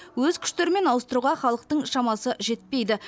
өз күштерімен ауыстыруға халықтың шамасы жетпейді